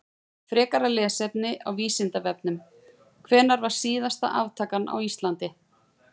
Frekara lesefni á Vísindavefnum: Hvenær var síðasta aftakan á Íslandi?